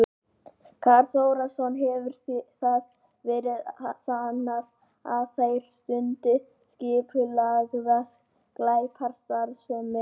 Karl Þórðarson: Hefur það verið sannað að þeir stundi skipulagða glæpastarfsemi?